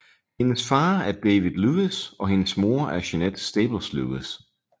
Hendes far er David Lewis og hendes mor er Jeannette Staples Lewis